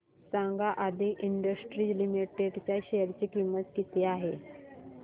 सांगा Aadi industries limited च्या share ची किंमत किती आहे